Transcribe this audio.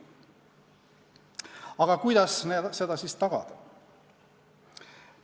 Aga kuidas neid siis tagada?